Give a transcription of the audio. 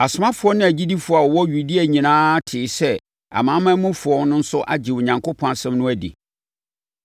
Asomafoɔ ne agyidifoɔ a wɔwɔ Yudea nyinaa tee sɛ amanamanmufoɔ no nso agye Onyankopɔn asɛm no adi.